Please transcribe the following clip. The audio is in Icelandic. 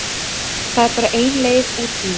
Það er bara ein leið úr því.